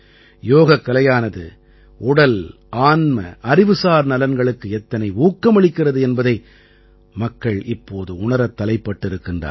யோகக்கலையானது உடல்ஆன்மஅறிவுசார் நலன்களுக்கு எத்தனை ஊக்கமளிக்கிறது என்பதை மக்கள் இப்போது உணரத் தலைப்பட்டிருக்கின்றார்கள்